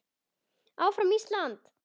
Áfram Ísland.